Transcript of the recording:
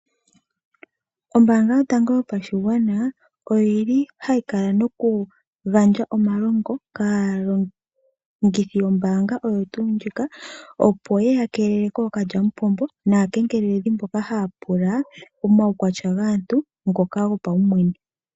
Ombaanga yotango yopashigwana oyi li hayi kala noku gandja omalongo kaalongithi yombaanga oyo tuu ndjika, opo ye ya keelele kookalyamupombo naakengeleledhi mboka haya pula omaukwatya gaantu ngoka gopawumwene.